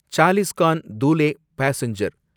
Chalisgaon Dhule passenger